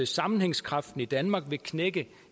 sammenhængskraften i danmark vil knække